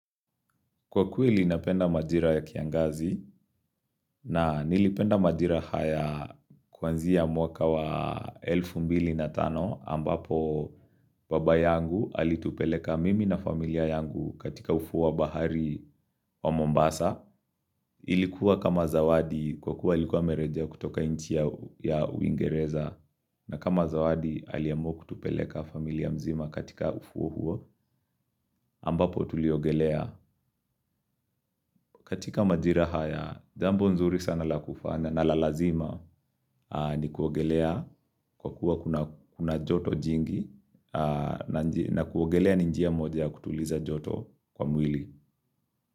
Kwa kweli napenda majira ya kiangazi na nilipenda majira haya kuanzia mwaka wa elfu mbili na tano ambapo baba yangu alitupeleka mimi na familia yangu katika ufuo wa bahari wa Mombasa. Ilikuwa kama zawadi kwa kuwa alikuwa amerejea kutoka nchi ya uingereza na kama zawadi aliamua kutupeleka familia mzima katika ufuo huo ambapo tuliogelea. Katika majira haya, jambo nzuri sana la kufanya na lalazima ni kuogelea kwa kuwa kuna joto jingi na kuogelea ni njia moja ya kutuliza joto kwa mwili.